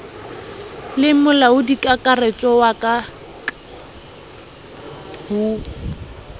le molaodikakaretso wa ka ho